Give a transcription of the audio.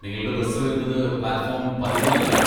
നിങ്ങളുടെ ബസ് വരുന്നത് platform പതിനാലിൽ ആണ്.